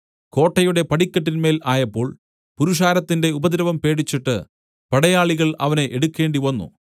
കോട്ടയുടെ പടിക്കെട്ടിന്മേൽ ആയപ്പോൾ പുരുഷാരത്തിന്റെ ഉപദ്രവം പേടിച്ചിട്ട് പടയാളികൾ അവനെ എടുക്കേണ്ടിവന്നു